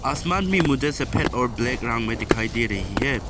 आसमान भी मुझे सफेद और ब्लैक रंग में दिखाई दे रही है।